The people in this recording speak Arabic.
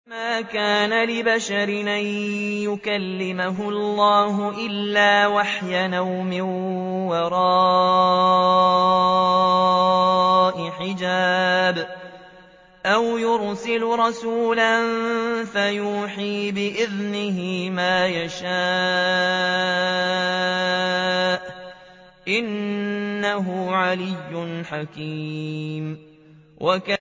۞ وَمَا كَانَ لِبَشَرٍ أَن يُكَلِّمَهُ اللَّهُ إِلَّا وَحْيًا أَوْ مِن وَرَاءِ حِجَابٍ أَوْ يُرْسِلَ رَسُولًا فَيُوحِيَ بِإِذْنِهِ مَا يَشَاءُ ۚ إِنَّهُ عَلِيٌّ حَكِيمٌ